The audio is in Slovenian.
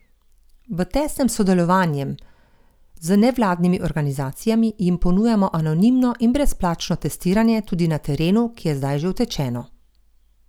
V tesnem sodelovanjem z nevladnimi organizacijami jim ponujamo anonimno in brezplačno testiranje tudi na terenu, ki je zdaj že utečeno.